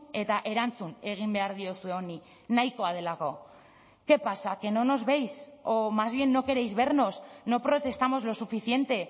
eta erantzun egin behar diozue honi nahikoa delako qué pasa que no nos veis o más bien no queréis vernos no protestamos lo suficiente